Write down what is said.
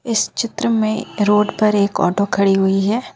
इस चित्र में रोड पर एक ऑटो खड़ी हुई है।